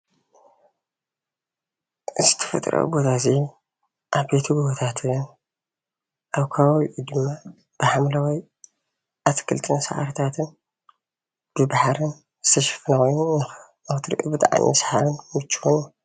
እዚ ተፈጥራዊ ቦታ እዙይ ዓቦይቲ ጉቦታትን ኣብ ከባቢኡ ድማ ብሓምለዋይ ኣትክልትን ስራሕታትን ብባሕርን ዝተሸፎኑ ኮይኑ ብጣዕሚ ሰሓብን ምቹውን